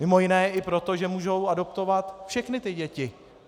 Mimo jiné i proto, že mohou adoptovat všechny ty děti.